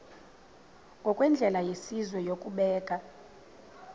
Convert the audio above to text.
ngokwendlela yesizwe yokubeka